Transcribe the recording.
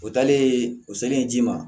O taalen o selen ji ma